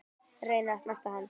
Reyni að snerta hann.